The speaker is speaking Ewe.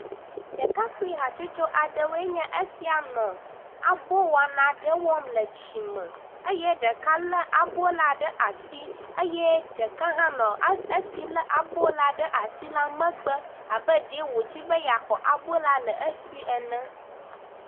Ɖekakpui hatsotso aɖe woe nye esia nɔ abo wɔna ɖe wɔm le tsi me eye ɖeka le aboa ɖe asi eye ɖeka hã nɔ, esi le abo la ɖe asi la megbe abe ɖee wodzi be ya xɔ abo la le esi ene